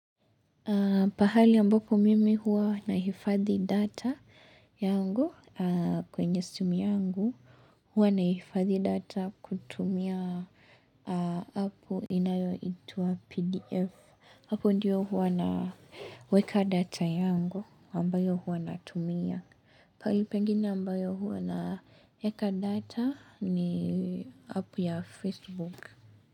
Pahali ambapo mimi huwa nahifadhi data yangu kwenye simu yangu, hua nahifadhi data kutumia hapo inayoitwa pdf. Hapo ndiyo hua naweka data yangu ambayo hua natumia. Pahali pengine ambayo hua naeka data ni hapo ya facebook.